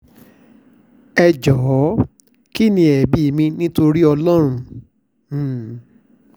ẹ jọ̀ọ́ kín ní ẹ̀bi mi nítorí ọlọ́run um